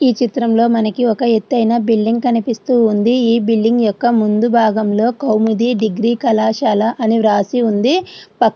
ఈ చిత్రంలో మనకి ఒక ఎత్తైన బిల్డింగ్ కనిపిస్తూ ఉంది ఈ బిల్డింగ్ యొక్క ముందు భాగంలో కౌముది డిగ్రీ కళాశాల అని వ్రాసి ఉంది ప --